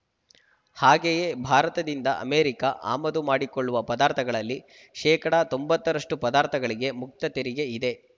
ಹಾಗೆಯೇ ಭಾರತದಿಂದ ಅಮೆರಿಕ ಆಮದು ಮಾಡಿಕೊಳ್ಳುವ ಪದಾರ್ಥಗಳಲ್ಲಿ ಶೇಕಡಾ ತೊಂಬತ್ತರಷ್ಟು ಪದಾರ್ಥಗಳಿಗೆ ಮುಕ್ತ ತೆರಿಗೆ ಇದೆ